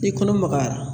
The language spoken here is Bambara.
I kɔnɔ magayara